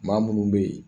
Maa munnu be yen